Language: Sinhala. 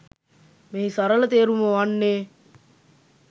මෙහි සරල තේරුම වන්නේ